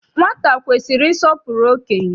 Nwata kwesiri ịsọpụrụ okenye.